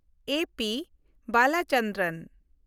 A. P. Balachandran